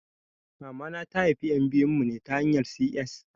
Mamana ta haifi ƴan biyun mu ne ta hanyan 'C.S'